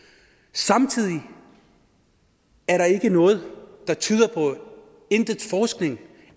samtidig er der ikke noget der tyder på ingen forskning